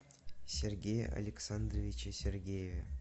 сергее александровиче сергееве